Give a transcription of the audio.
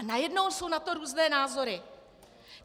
A najednou jsou na to různé názory.